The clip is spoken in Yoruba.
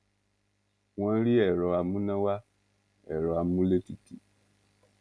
wọn rí ẹrọ amúnáwá ẹrọ amúlétutù